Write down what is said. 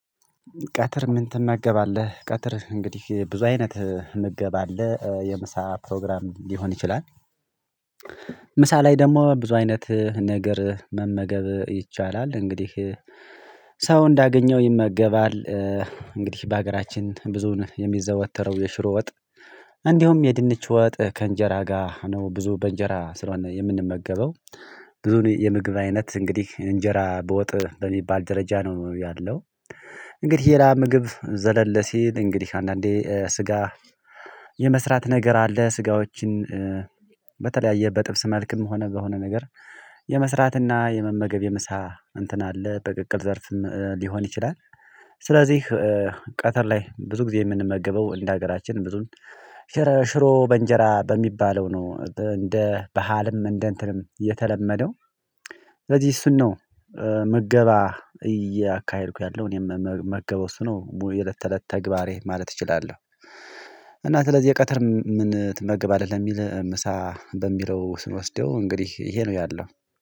ቀትር ምን ትመገባለህ? ቀትር እንግዲህ ብዙ አይነት ምገባ አለ የምሳ ፕሮግራም ሊሆን ይችላል። ምሳ ላይ ደግሞ ብዙ አይነት ነገር መመገብ ይቻላል እንግዲህ ሰው እንዳገኘው ይመገባል። እንግዲህ በሀገራችን ብዙን የሚዘወተረው የሽሮ ወጥ። እንዲሁም የድንች ወጥ ከእንጀራ ጋር ነው ብዙ በእንጀራ ስለሆነ የምንመገበው። ብዙ የምግብ አይነት እንግዲህ እንጀራ በወጥ በሚባል ደረጃ ነው ያለው። እንግዲህ የላ ምግብ ዘለለ ሲል እንግዲህ አንዳንዴ ስጋ የመስራት ነገር አለ። ስጋዎችን በተለያየ በጥብስ መልክም ሆነ በሆነ ነገር የመስራት እና የመመገብ የምሳ እንትን አለ በቅቅል ዘርፍም ሊሆን ይችላል። ስለዚህ ቀትር ላይ ብዙ ጊዜ የምንመገበው እንደ ሀገራችን ብዙን ሽረ ሽሮ በእንጀራ በሚባለው ነው እንደ ባህልም እንደ እንትንም የተለመደው። ስለዚህ እሱን ነው ምገባ እያካሄድኩ ያለው እኔም ምመገበው እሱ ነው ቡይ የለት ተለት ተግባሬ ማለት እችላለሁ። እና ስለዚህ የቀትር ምን ትመግባለህ ለሚል ምሳ በሚለው ስንወስደው እንግዲህ ይሄ ነው ያለው።